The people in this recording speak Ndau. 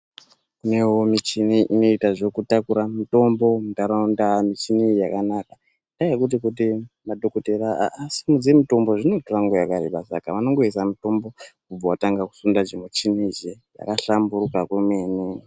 Onaiwo michini inoita zvekutakura mutombo muntaraunda, michini iyi yakanaka, inyaya yekuti kuti madhokodhera asimudze mitombo zvinotora nguwa yakareba. Saka vanongoisa mitombo vobva vatanga kusunda chimuchini ichi zvakahlamburuka kwemene.